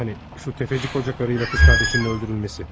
Hani o sələmçi qoca arvadla qız qardaşının öldürülməsi.